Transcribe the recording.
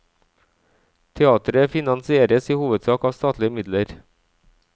Teateret finansieres i hovedsak av statlige midler.